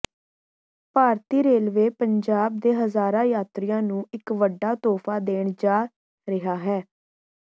ਭਾਰਤੀ railway Punjab ਦੇ ਹਜ਼ਾਰਾਂ ਯਾਤਰੀਆਂ ਨੂੰ ਇੱਕ ਵੱਡਾ ਤੋਹਫ਼ਾ ਦੇਣ ਜਾ ਰਿਹਾ ਹੈ